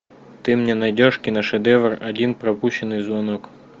ты мне найдешь киношедевр один пропущенный звонок